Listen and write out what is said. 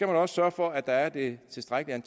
også sørge for at der er det tilstrækkelige